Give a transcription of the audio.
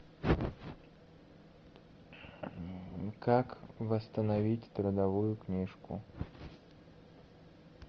как восстановить трудовую книжку